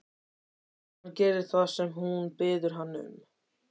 Hann gerir það sem hún biður hann um.